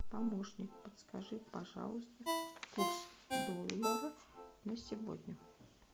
помощник подскажи пожалуйста курс доллара на сегодня